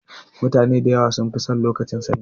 Mutane da yawa sun fi son lokacin sanyi.